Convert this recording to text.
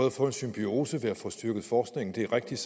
at få en symbiose ved at få styrket forskningen det er rigtigt